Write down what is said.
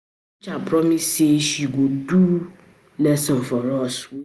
Our teacher promise say she go do go do lesson for us wey no understand